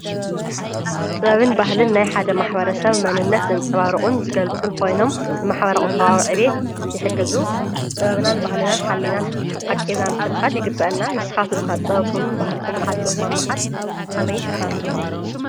ጥበብን ባህልን ናይ ሓደ ማሕበረ ሰብ መንነት ዘንጸባርቑን ዝገልጹን ኾይኖም ንማሕበረ ቝጠባዊ ዕቤት ይሕግዙ፡፡ ጥበብናን ባህልናን ሓሊናን ኣቂብናን ክንኸይድ ይግብአና፡፡ ንስኻትኩም ከ ጥበብኩምን ባህልኹምን ዓቂብኩም ኣብ ምኻድ ኸመይ ትሰርሑሉ?